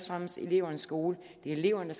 fremmest elevernes skole det er eleverne